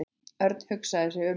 Örn hugsaði sig um.